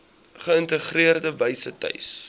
geïntegreerde wyse tuis